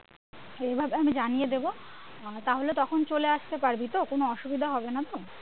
যে এভাবে আমি জানিয়ে দেব তাহলে তখন চলে আসতে পারবি তো কোনো অসুবিধা হবেনা তো?